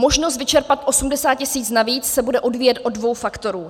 Možnost vyčerpat 80 tisíc navíc se bude odvíjet od dvou faktorů.